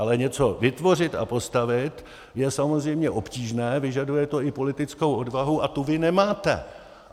Ale něco vytvořit a postavit, je samozřejmě obtížné, vyžaduje to i politickou odvahu a tu vy nemáte!